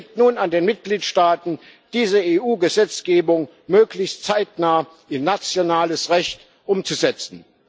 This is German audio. Es liegt nun an den Mitgliedstaaten, diese EU Gesetzgebung möglichst zeitnah in nationales Recht umzusetzen.